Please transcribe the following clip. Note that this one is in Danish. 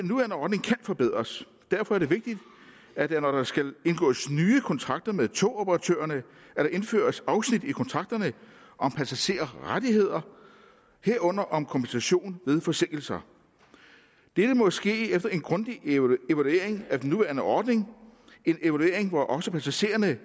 forbedres og derfor er det vigtigt at der når der skal indgås nye kontrakter med togoperatørerne indføres afsnit i kontrakterne om passagerrettigheder herunder om kompensation ved forsinkelser dette må ske efter en grundig evaluering af den nuværende ordning en evaluering hvor også passagererne